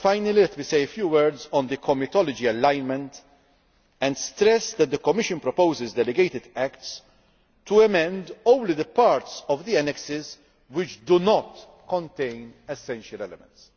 let me say a few words on the comitology alignment and stress that the Commission proposes delegated acts to amend only those parts of the annexes which do not contain essential elements.